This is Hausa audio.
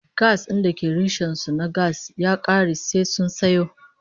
Gas din da ke rishon su na gas ya kare sai sun sayo